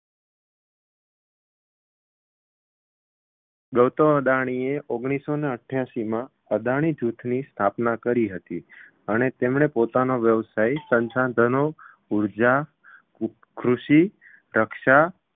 ગૌતમ અદાણીએ ઓગણીસસો ને અઠ્‍યાશીમાં અદાણી જૂથની સ્થાપના કરી હતી અને તેમણે પોતાનો વ્યવસાય સંસાધનો, ઉર્જા, કૃષિ, રક્ષા